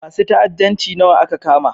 Masun ta'addanci nawa aka kama?